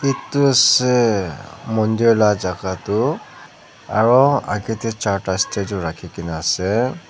edu ase mandir lajaka toh aro akae tae chatra statue rakhina ase.